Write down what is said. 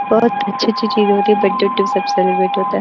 बोहोत अच्छी-अच्छी चीज हो रही है। बड्डे ओड्डे सब सेलिब्रेट होता है।